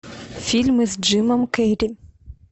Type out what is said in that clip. фильмы с джимом керри